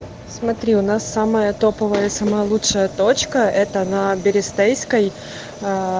смотри у нас самая топовая самая лучшая точка это на берестейской